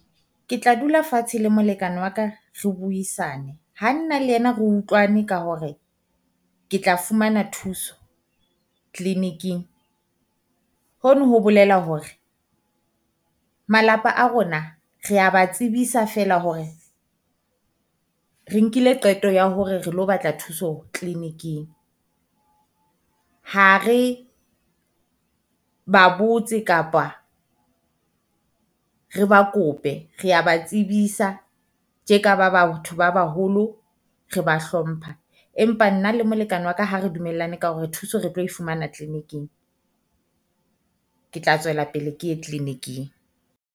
Ke tla dula fatshe le molekane wa ka re buisane, ha nna le ena re utlwane ka hore ke tla fumana thuso clinic-ing hono ho bolela hore malapa a rona rea ba tsebisa feela hore re nkile qeto ya hore re lo batla thuso clinic-ing. Ha re ba botse kapa re ba kope rea ba tsebitsa tje ka ba batho ba baholo, re ba hlompha. Empa nna le molekane wa ka ha re dumellane ka hore re thuse re tlo e fumana clinic-ing, Ke tla tswela pele ke ye clinic-ing.